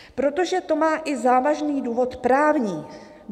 Protože to má i závažný důvod právní.